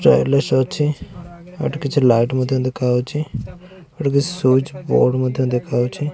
ଅଛି ଏଠି କିଛି ଲାଇଟ୍ ମଧ୍ୟ ଦେଖାଯାଉଛି। ଏଠି କିଛି ସୁଇଚ ବୋର୍ଡ ମଧ୍ୟ ଦେଖାଯାଉଛି।